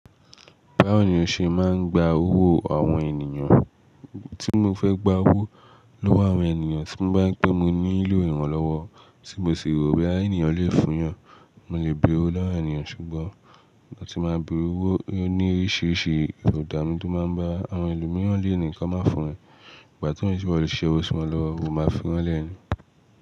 Báwo ni ó ṣe máa ń gba owó àwọn ènìyàn? Tí mo fẹ́ gba owó lọ́wọ́ àwọn ènìyàn, tí mo bá rí pé mo nílò ìrànlọ́wọ́ tí mo sì rò boya eni yan le fún yàn, mo le bere lowó ènìyàn ṣùgbọ́n ìgbà tí mo máa ń bẹ̀re owó ní oríṣiríṣi ìbòdà mi tó máa ń bá àwọn ẹlòmíràn le nìkan máa fún yan, ìgbà tí ko n sẹ iwo lo si ṣe owó sí wọn lọ́wọ́, wọn máa fi wọ́n lẹ́nu.